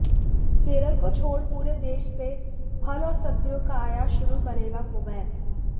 केरल को छोड़ पूरे देश से फल और सब्जियों का आयात शुरू करेगा कुवैत